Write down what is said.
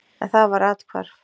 En það var athvarf.